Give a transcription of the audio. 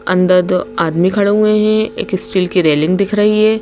अंदर दो आदमी खड़े हुए हैं एक स्टील की रेलिंग दिख रही है।